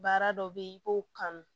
Baara dɔ bɛ yen i b'o kanu